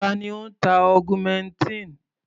Ta ni ó ń ta augmentin?